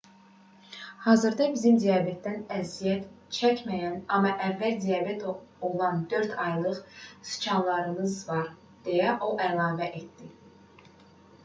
hazırda bizim diabetdən əziyyət çəkməyən amma əvvəl diabet olan 4 aylıq siçanlarımız var deyə o əlavə etdi